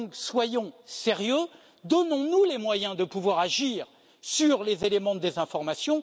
Soyons sérieux, donnons nous les moyens de pouvoir agir sur les éléments de désinformation.